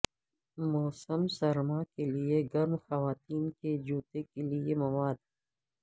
موسم سرما کے لئے گرم خواتین کے جوتے کے لئے مواد